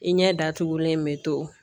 I ɲɛ datugulen me to